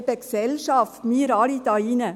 – Eben, die Gesellschaft, wir alle hier drin!